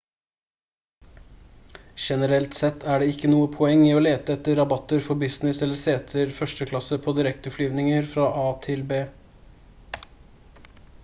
generelt sett er det ikke noe poeng i å lete etter rabatter for business eller seter første klasse på direkteflyvninger fra a til b